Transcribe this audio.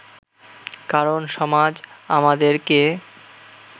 কারণ সমাজ আমাদেরকে